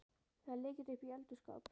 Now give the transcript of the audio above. Það er lykill uppi í eldhússkáp.